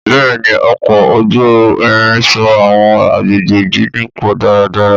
Bẹ́ẹ̀ni, ọkọ̀ ojú irin so àwọn agbègbè jíjìn pọ̀ dáradára.